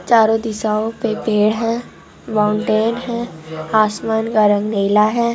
चारों दिशाओ पे पेड़ है माउंटेन है आसमान का रंग नीला है।